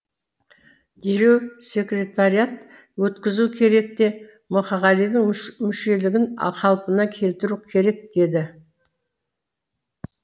дереу секретариат өткізу керек те мұқағалидың мүшелігін қалпына келтіру керек деді